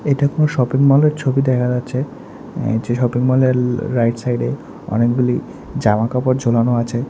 এটা কোনও শপিং মলের ছবি দেখা যাচ্ছে আ যে শপিং মলের রাইট সাইডে অনেকগুলি জামাকাপড় ঝোলানো আছে।